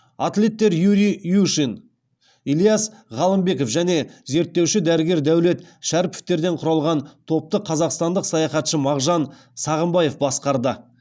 атлеттер юрий юшин ильяс ғалымбеков және зерттеуші дәрігер дәулет шәріповтерден құралған топты қазақстандық саяхатшы мағжан сағымбаев басқарды